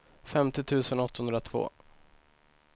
femtio tusen åttahundratvå